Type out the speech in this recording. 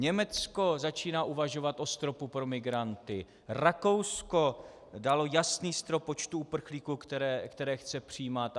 Německo začíná uvažovat o stropu pro migranty, Rakousko dalo jasný strop počtu uprchlíků, které chce přijímat.